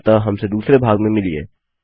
अतः हमसे दूसरे भाग में मिलिए